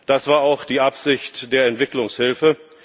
Das war auch die Absicht der Entwicklungshilfe.